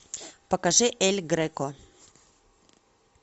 покажи эль греко